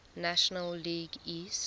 national league east